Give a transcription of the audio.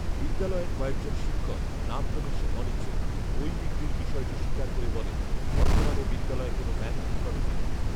বিদ্যালয়ের কয়েকজন শিক্ষক নাম প্রকাশে অনিচ্ছুক বই বিক্রির বিষয়টি স্বীকার করে বলেন, বর্তমানে বিদ্যালয়ে কোনো ম্যানেজিং কমিটি নেই